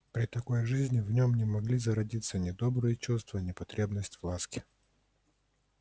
при такой жизни в нём не могли зародиться ни добрые чувства ни потребность в ласке